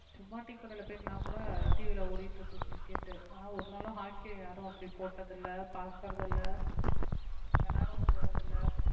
சும்மா டீக்கடையில போயிருந்தா கூட TV ல ஓடிட்டு இருக்கு cricket ஆனா ஒரு நாளும் hockey யை யாரும் அப்படி போட்டதில்லை பார்க்கிறதில்லை விளையாடவும் போறதில்லை